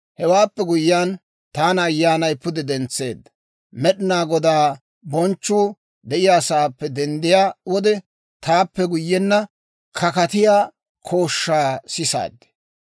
Hewaappe guyyiyaan, taana Ayyaanay pude dentseedda; «Med'inaa Godaa bonchchuu de'iyaasaappe denddiyaa wode» taappe guyyenna, wolk'k'aama kooshshaa sisaaddi.